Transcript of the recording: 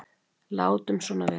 Látum svona vera.